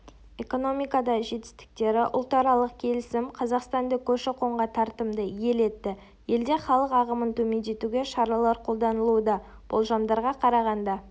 экономикадағы жетістіктері ұлтаралық келісім қазақстанды көші-қонға тартымды ел етті елде халық ағымын төмендетуге шаралар қолданылуда болжамдарға қарағанда